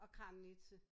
Og Kramnitze